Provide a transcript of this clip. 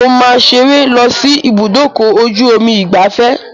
Mo máa ṣeré lọ sí ibúdòkọ-ojú-omi ìgbafẹ́